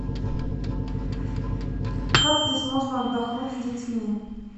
как здесь можно отдохнуть с детьми